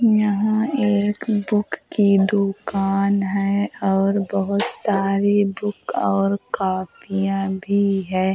यहाँ एक बुक की दुकान है और बोहोत सारी बुक और कॉपियां भी है।